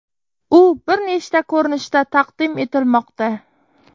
U bir nechta ko‘rinishda taqdim etilmoqda.